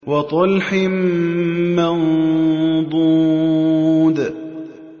وَطَلْحٍ مَّنضُودٍ